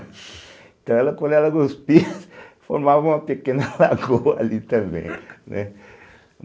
Então, quando ela cuspia, formava uma pequena lagoa ali também, né?